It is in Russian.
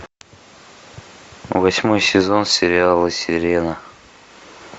восьмой сезон сериала сирена